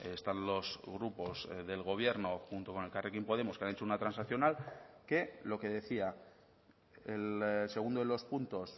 están los grupos del gobierno junto con elkarrekin podemos que han hecho una transaccional que lo que decía el segundo de los puntos